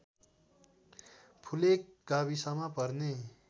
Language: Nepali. फुलेक गाविसमा पर्ने